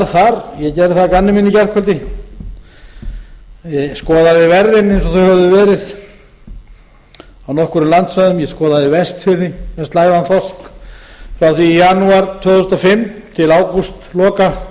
það að gamni mínu í gærkvöldi ég skoðaði verðin eins og þau höfðu verið á nokkrum landsvæðum ég skoðaði vestfirði með slægðan þorsk frá því í janúar tvö þúsund og fimm til ágústloka tvö